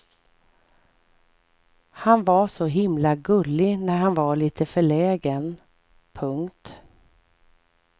Han var så himla gullig när han var lite förlägen. punkt